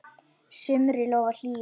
sumri lofar hlýju.